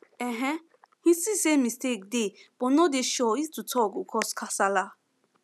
um him see say mistake dey but no dey sure if to talk go cause casala